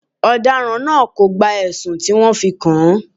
Ọ̀daràn náà kò gba ẹ̀sùn tí wọ́n fi kàn án.